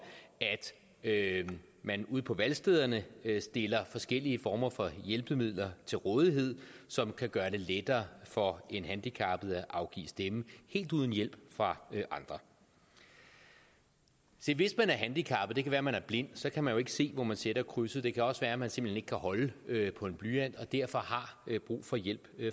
at man ude på valgstederne stiller forskellige former for hjælpemidler til rådighed som kan gøre det lettere for en handicappet at afgive stemme helt uden hjælp fra andre se hvis man er handicappet det kan være at man er blind og så kan man jo ikke se hvor man sætter krydset det kan også være at man simpelt hen ikke kan holde på en blyant og derfor har brug for hjælp